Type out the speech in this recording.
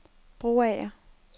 Broager